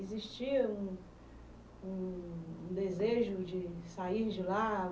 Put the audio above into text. Existia um um um desejo de sair de lá?